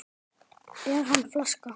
Er hann flaska?